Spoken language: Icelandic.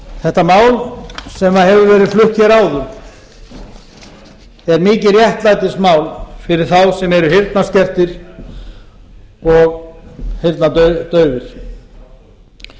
þetta mál sem hefur verið flutt hér áður er mikið réttlætismál fyrir þá sem eru heyrnarskertir og heyrnardaufir